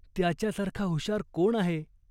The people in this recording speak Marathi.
त्याच्यासारखा हुशार कोण आहे ?